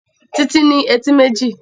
Títí ní etí méjì